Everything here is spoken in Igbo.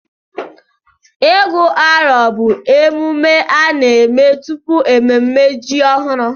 Ịgụ arọ bụ emume a na-eme tupu mmemme ji ọhụrụ.